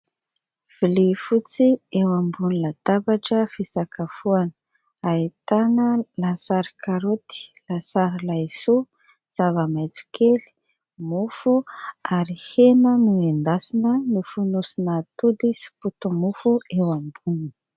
Vilia fotsy eo ambonina latabatra fisakafoana ahitana lasary karaoty, lasary laisoa, zava-maitso kely, mofo ary hena nendasina nofonosina atody sy poti-mofo eo amboniny.